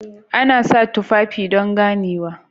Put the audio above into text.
Ana sa tufafi don ganewa